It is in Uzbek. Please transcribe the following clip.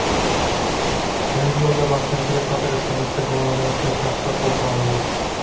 Yangiyo‘lda bosqinchilik sodir etganlikda gumonlanayotgan shaxslar qo‘lga olindi.